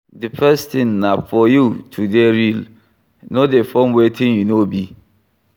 The first thing na for you to dey real, no dey form wetin you no be